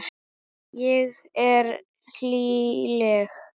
Ég er hlýleg.